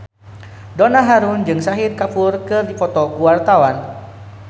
Donna Harun jeung Shahid Kapoor keur dipoto ku wartawan